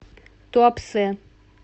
туапсе